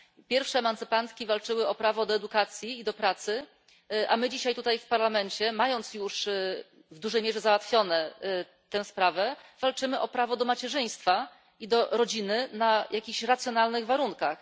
Pierwsze emancypantki walczyły o prawo do edukacji i do pracy, a my dzisiaj tutaj w Parlamencie, mając już w dużej mierze załatwioną tę sprawę, walczymy o prawo do macierzyństwa i do posiadania rodziny na jakichś racjonalnych warunkach.